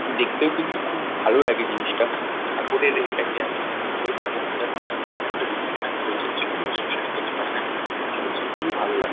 দেখতেও কিন্তু খুব ভালো লাগে জিনিসটা যে ঠাকুরের এটাকে এতো সুন্দর ভাবে সাজানো আছে পেছনদিকে একটা রিসেপশন চলছে যে কোনো রিসেপশন ই হতে পারেনা কেন এখানে চলছে খুবিই ভালো লা--